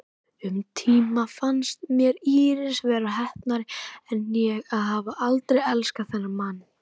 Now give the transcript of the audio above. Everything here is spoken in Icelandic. Um tíma fannst mér Íris vera heppnari en ég að hafa aldrei elskað þennan mann.